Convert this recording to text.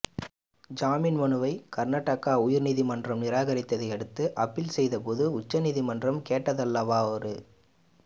ஜாமீன் மனுவை கர்நாடக உயர் நீதிமன்றம் நிராகரித்ததை அடுத்து அப்பீல் செய்தபோது உச்ச நீதிமன்றம் கேட்டதல்லவா ஒரு